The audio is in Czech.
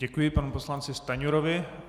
Děkuji panu poslanci Stanjurovi.